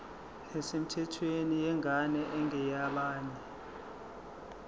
nesemthethweni yengane engeyabanye